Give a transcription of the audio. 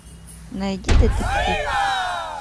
найди детектив